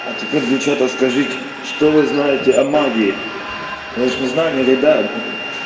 а теперь девчата скажите что вы знаете о магии вы же не знали никогда